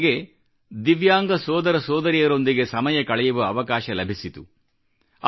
ಅಲ್ಲಿ ನನಗೆ ದಿವ್ಯಾಂಗ ಸೋದರ ಸೋದರಿಯರೊಂದಿಗೆ ಸಮಯ ಕಳೆಯುವ ಅವಕಾಶ ಲಭಿಸಿತು